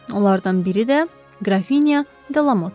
Onlardan biri də Qrafinya Delamot idi.